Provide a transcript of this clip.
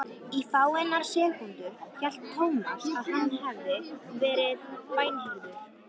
Í fáeinar sekúndur hélt Thomas að hann hefði verið bænheyrður.